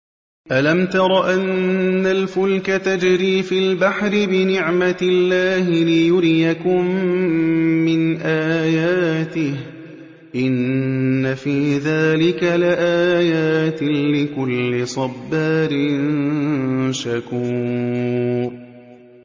أَلَمْ تَرَ أَنَّ الْفُلْكَ تَجْرِي فِي الْبَحْرِ بِنِعْمَتِ اللَّهِ لِيُرِيَكُم مِّنْ آيَاتِهِ ۚ إِنَّ فِي ذَٰلِكَ لَآيَاتٍ لِّكُلِّ صَبَّارٍ شَكُورٍ